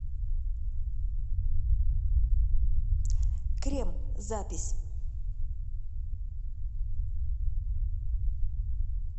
крем запись